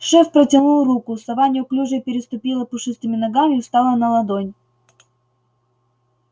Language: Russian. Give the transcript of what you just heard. шеф протянул руку сова неуклюже переступила пушистыми ногами встала на ладонь